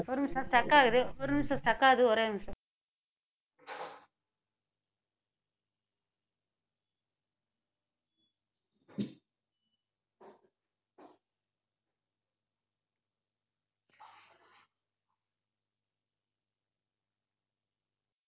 ஒரு நிமிஷம் stuck ஆகுது ஒரு நிமிஷம் stuck ஆகுது ஒரே நிமிஷம்